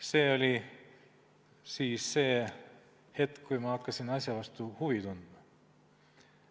" See oli hetk, kui ma hakkasin asja vastu huvi tundma.